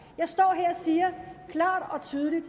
jeg står her og siger klart og tydeligt at